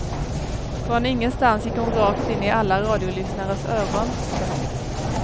Från ingenstans gick hon rakt in i alla radiolyssnares öron. punkt